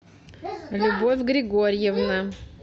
любовь григорьевна